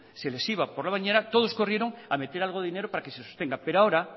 se les iba por la bañera todos corrieron a meter algo de dinero para que se sostenga pero ahora